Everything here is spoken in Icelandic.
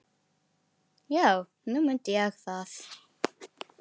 Já, nú mundi ég það.